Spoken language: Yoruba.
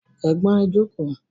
Ẹ̀gbọ́n ẹ jókòó